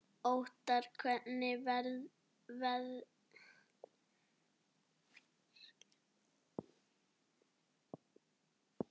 Óttarr, hvernig verður veðrið á morgun?